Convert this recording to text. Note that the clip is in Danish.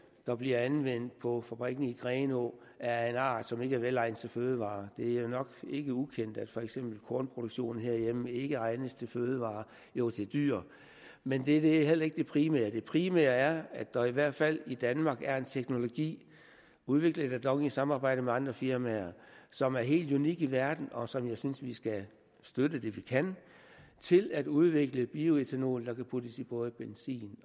der bliver anvendt på fabrikken i grenaa er af en art som ikke er velegnet til fødevarer det er jo nok ikke ukendt at for eksempel kornproduktionen herhjemme ikke er egnet til fødevarer jo til dyr men det er heller ikke det primære det primære er at der i hvert fald i danmark er en teknologi udviklet af dong i samarbejde med andre firmaer som er helt unik i verden og som jeg synes vi skal støtte det vi kan til at udvikle bioætanol der kan puttes i både benzin